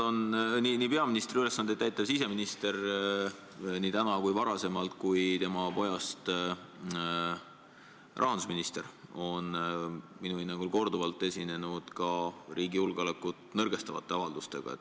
Peaministri ülesandeid täitev siseminister, seda nii täna kui ka varasemalt, ja ka tema pojast rahandusminister on minu hinnangul korduvalt esinenud riigi julgeolekut nõrgestavate avaldustega.